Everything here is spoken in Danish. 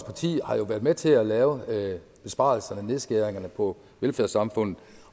parti har jo været med til at lave besparelserne og nedskæringerne på velfærdssamfundet